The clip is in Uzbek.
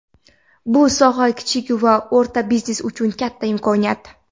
Bu soha kichik va o‘rta biznes uchun katta imkoniyat.